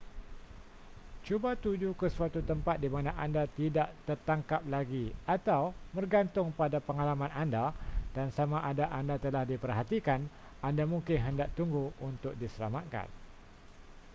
cuba tuju ke suatu tempat di mana anda tidak tertangkap lagi atau bergantung pada pengalaman anda dan sama ada anda telah diperhatikan anda mungkin hendak tunggu untuk diselamatkan